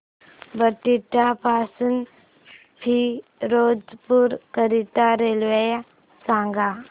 बठिंडा पासून फिरोजपुर करीता रेल्वे सांगा